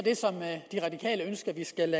skal